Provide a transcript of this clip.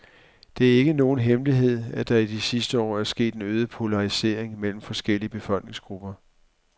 Det er ikke nogen hemmelighed, at der i de sidste år er sket en øget polarisering mellem forskellige befolkningsgrupper.